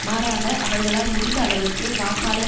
மாறாக அவர்களால் முடிந்த அளவிற்கு வாக்காளர்